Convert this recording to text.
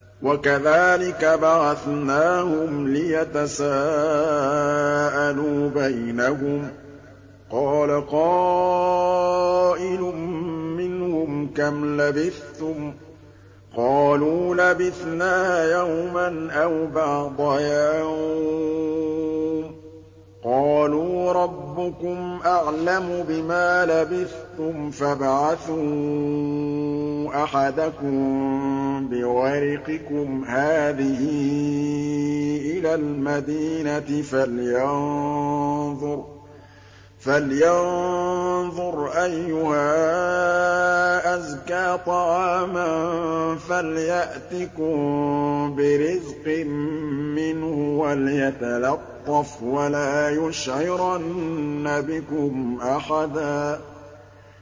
وَكَذَٰلِكَ بَعَثْنَاهُمْ لِيَتَسَاءَلُوا بَيْنَهُمْ ۚ قَالَ قَائِلٌ مِّنْهُمْ كَمْ لَبِثْتُمْ ۖ قَالُوا لَبِثْنَا يَوْمًا أَوْ بَعْضَ يَوْمٍ ۚ قَالُوا رَبُّكُمْ أَعْلَمُ بِمَا لَبِثْتُمْ فَابْعَثُوا أَحَدَكُم بِوَرِقِكُمْ هَٰذِهِ إِلَى الْمَدِينَةِ فَلْيَنظُرْ أَيُّهَا أَزْكَىٰ طَعَامًا فَلْيَأْتِكُم بِرِزْقٍ مِّنْهُ وَلْيَتَلَطَّفْ وَلَا يُشْعِرَنَّ بِكُمْ أَحَدًا